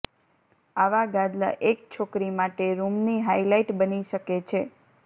આવા ગાદલા એક છોકરી માટે રૂમની હાઇલાઇટ બની શકે છે